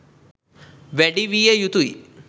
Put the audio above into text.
වැඩි විය යුතුයි.